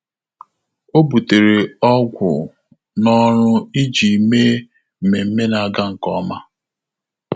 Ọ́ bùtéré ọ́gwụ́ n’ọ́rụ́ iji mèé mmemme nà-ágá nke ọma.